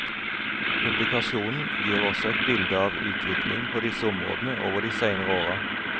Publikasjonen gir også et bilde av utviklingen på disse områdene over de seinere åra.